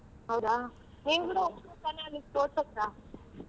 ಹೌದ, ನೀನ್ ಕೂಡ ಹೋಗ್ಬೋದು ತಾನೇ .